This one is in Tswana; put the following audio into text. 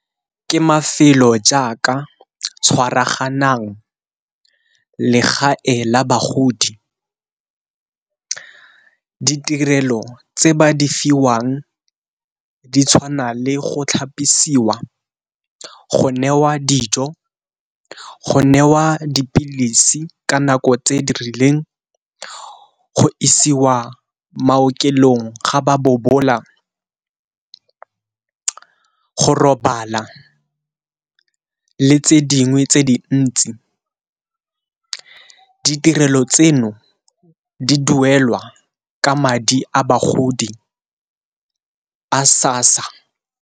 Ke mafelo jaaka tshwaraganang, legae la bagodi. Ditirelo tse ba di fiwang ditshwana le go tlhapisiwa, go newa dijo, go newa dipilisi ka nako tse di rileng, go isiwa maokelong ga ba bobola, go robala, le tse dingwe tse dintsi. Ditirelo tseno di duelwa ka madi a bagodi a SASSA.